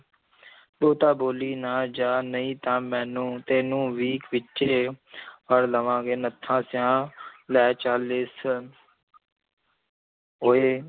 ਬਹੁਤਾ ਬੋਲੀ ਨਾ ਜਾ ਨਹੀਂ ਤਾਂ ਮੈਨੂੰ ਤੈਨੂੰ ਵੀ ਵਿੱਚੇ ਫੜ੍ਹ ਲਵਾਂਗੇ ਨੱਥਾ ਸਿਆਂ ਲੈ ਚੱਲ ਇਸ ਓਏ